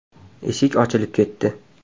Eshik ochilib ketdi.